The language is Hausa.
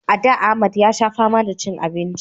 A da Ahmad ya sha fama da cin abinci